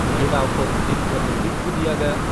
महिलाओं को उचित प्रतिनिधित्व दिया गया।